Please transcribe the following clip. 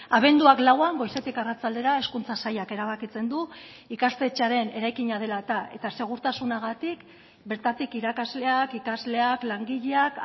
abenduak lauan goizetik arratsaldera hezkuntza sailak erabakitzen du ikastetxearen eraikina dela eta eta segurtasunagatik bertatik irakasleak ikasleak langileak